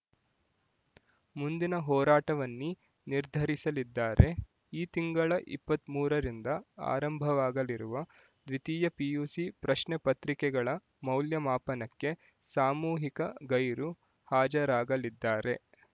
ಮುಂದಿನ ಹೋರಾಟವನ್ನಿ ನಿರ್ಧರಿಸಲಿದ್ದಾರೆ ಈ ತಿಂಗಳ ಇಪ್ಪತ್ತ್ ಮೂರರಿಂದ ಆರಂಭವಾಗಲಿರುವ ದ್ವಿತೀಯ ಪಿಯುಸಿ ಪ್ರಶ್ನೆ ಪತ್ರಿಕೆಗಳ ಮೌಲ್ಯಮಾಪನಕ್ಕೆ ಸಾಮೂಹಿಕ ಗೈರು ಹಾಜರಾಗಲಿದ್ದಾರೆ